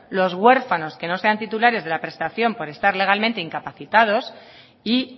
los huérfanos que no sean titulares de la prestación por estar legalmente incapacitados y